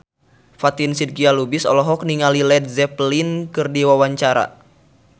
Fatin Shidqia Lubis olohok ningali Led Zeppelin keur diwawancara